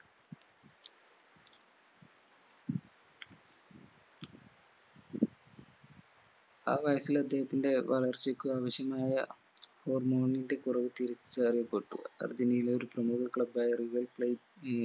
ആ വയസ്സില് അദ്ദേഹത്തിന്റെ വളർച്ചക്ക് ആവശ്യമായ hormone ന്റെ കുറവ് തിരിച്ചറിയപ്പെട്ടു. അർജന്റീന ഒരു പ്രമുഖ club ആയ real players